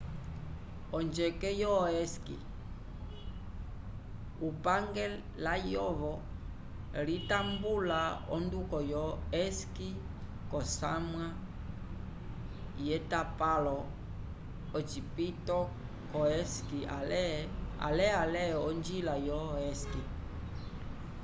onjeke yo esqui upange layovo litambula onduko yo esqui k'osamwa yetapalo ocipito c'osqui ale ale onjila yo esqui